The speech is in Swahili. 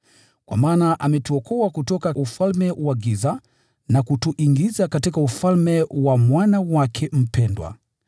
Kwa maana ametuokoa kutoka ufalme wa giza na kutuingiza katika ufalme wa Mwana wake mpendwa,